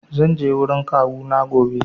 Zan je wurin kawuna gobe.